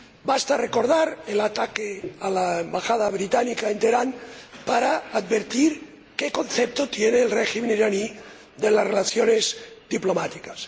Basta recordar el ataque a la Embajada británica en Teherán para advertir qué concepto tiene el régimen iraní de las relaciones diplomáticas.